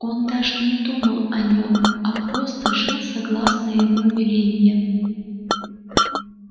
он даже не думал о нем а просто жил согласно его велениям